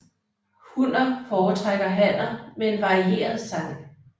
Hunner foretrækker hanner med en varieret sang